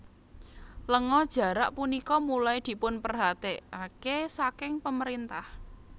Lenga jarak punika mulai dipunperhatekake saking pemerintah